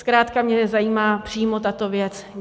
Zkrátka mě zajímá přímo tato věc.